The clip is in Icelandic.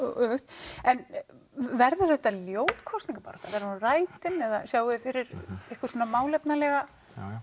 öfugt en verður þetta ljót kosningabarátta verður hún rætin eða sjáið þið fyrir ykkur málefnalega